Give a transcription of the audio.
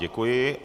Děkuji.